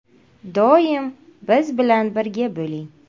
Doim biz bilan birga bo‘ling!